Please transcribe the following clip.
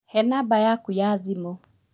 He namba yaku ya thimũ